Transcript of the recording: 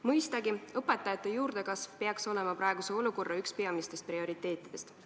Mõistagi, õpetajate juurdekasv peaks olema praegu üks peamistest prioriteetidest.